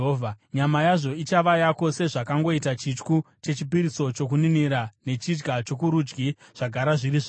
Nyama yazvo ichava yako, sezvakangoita chityu chechipiriso chokuninira nechidya chokurudyi zvagara zviri zvako.